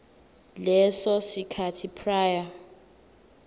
leso sikhathi prior